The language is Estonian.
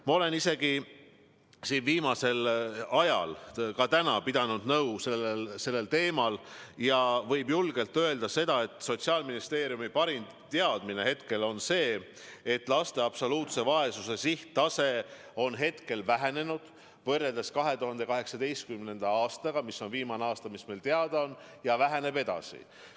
Ma olen viimasel ajal ja ka täna sellel teemal nõu pidanud ja võib julgelt öelda, et Sotsiaalministeeriumi parim teadmine on praegu see, et laste absoluutse vaesuse tase on võrreldes 2018. aastaga vähenenud – see on viimane aasta, mis meile teada on – ja väheneb edasi.